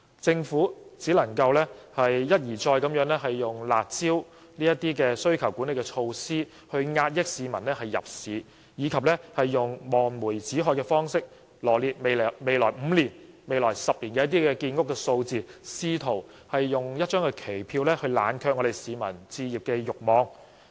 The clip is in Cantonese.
政府只能一而再地以"辣招"等需求管理措施遏抑市民入市，以及用望梅止渴的方式，羅列未來5年、10年的建屋數字，試圖以一張期票冷卻市民的置業慾望。